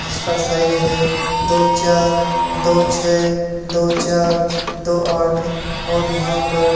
जिसका साइज है दो चार दो छ दो चार दो आठ और यहां पर--